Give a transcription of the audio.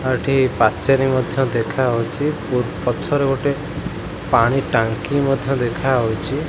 ଆଉ ଏଠି ପାଚେରୀ ମଧ୍ୟ ଦେଖାହଉଚି ପୂର ପଛରେ ଗୋଟେ ପାଣି ଟାଙ୍କି ମଧ୍ୟ ଦେଖାହଉଚି।